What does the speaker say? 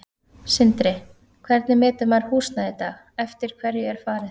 Sindri: Hvernig metur maður húsnæði í dag, eftir hverju er farið?